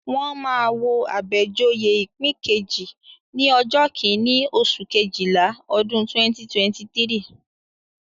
Wọ́n máa wo Abejoye ipin keje ní ọjọ́ kíní, oṣù Kejìlá, ọdún 2023.